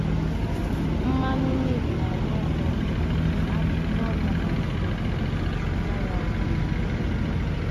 Mmanụ neem na -akacha um arụ ọrụ ma-agwakata um ya na ncha ma fesa ya n'isi ụtụtụ.